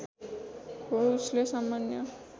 हो उसले सामान्य